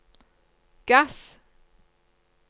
gass